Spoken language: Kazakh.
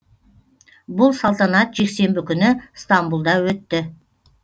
бұл салтанат жексенбі күні стамбұлда өтті